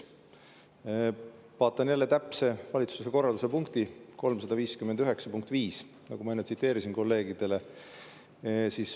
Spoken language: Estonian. Vaatan jälle valitsuse korralduse 359 punkti 5, mida ma enne tsiteerisin kolleegidele.